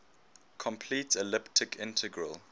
complete elliptic integral